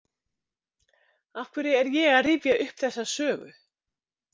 Af hverju er ég að rifja upp þessa sögu?